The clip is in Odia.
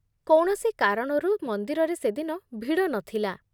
କୌଣସି କାରଣରୁ ମନ୍ଦିରରେ ସେଦିନ ଭିଡ଼ ନଥିଲା।